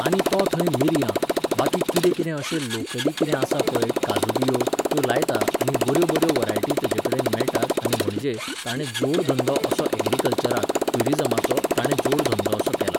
आनी तो थंय मिरयां, बाकी कितें कितें अशें लोकली किदें आसा पळय काजू बिजू त्यो लायता आनी बऱ्यो बऱ्यो व्हरायटी तेजे कडेन मेळटात आनी म्हणजे, ताणे जोड धंदो असो एग्रिकल्चराक, ट्युरिजमाचो ताणे जोड धंदो असो केला.